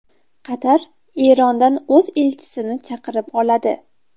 Qatar Erondan o‘z elchisini chaqirib oladi.